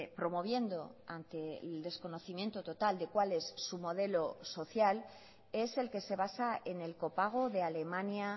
promoviendo ante el desconocimiento total de cuál es su modelo social es el que se basa en el copago de alemania